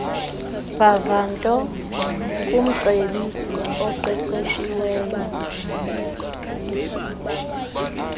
vavanto kumcebisi oqeqeshiweyo